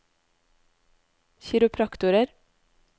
kiropraktorer